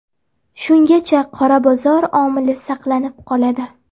Shungacha qora bozor omili saqlanib qoladi.